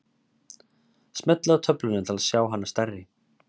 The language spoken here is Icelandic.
smellið á töfluna til að sjá hana stærri